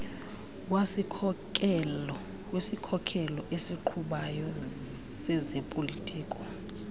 wesikhokelo esiqhubayo sezopolitiko